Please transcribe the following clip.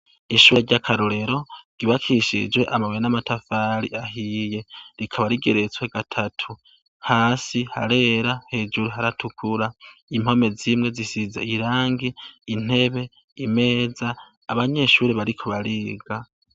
Ishure ryakarorero ry'ubakishije amabuye n'amatafari ahiye, rikaba rigeretswe gatatu, hasi harera hejuru haratukura impome zimwe zisize irangi, intebe, imeza abanyeshure bariko bariga.